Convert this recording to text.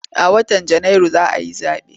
A watan Janairu za a yi zaɓe.